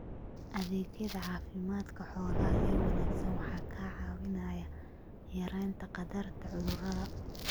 Adeegyada caafimaadka xoolaha ee wanaagsan ayaa kaa caawinaya yaraynta khatarta cudurrada.